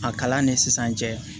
A kalan ni sisan cɛ